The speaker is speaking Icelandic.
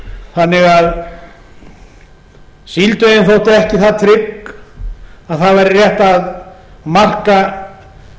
þannig að síldveiðin þótti ekki það trygg að það væri rétt að marka